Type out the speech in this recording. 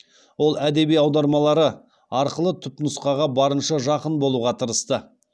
ол әдеби аудармалары арқылы түпнұсқаға барынша жақын болуға тырысты